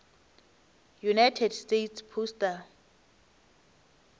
united states postal